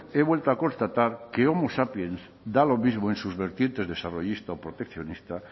he vuelto a constatar que homo sapiens da lo mismo en sus vertientes desarrollista o proteccionista